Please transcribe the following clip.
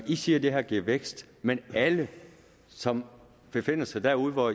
siger at det her giver vækst men alle som befinder sig derude hvor